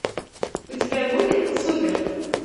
у тебя будет супер